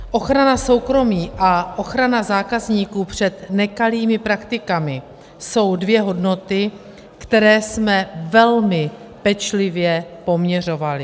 Ochrana soukromí a ochrana zákazníků před nekalými praktikami jsou dvě hodnoty, které jsme velmi pečlivě poměřovali.